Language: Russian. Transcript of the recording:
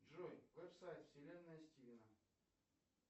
джой веб сайт вселенная стивена